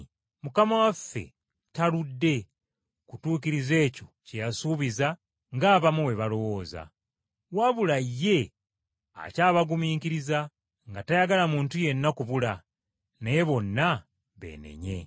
Mukama waffe taludde kutuukiriza ekyo kye yasuubiza ng’abamu bwe balowooza. Wabula ye akyabagumiikiriza, nga tayagala muntu yenna kubula, naye bonna beenenye.